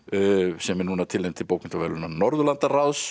sem er núna tilnefnd til bókmenntaverðlauna Norðurlandaráðs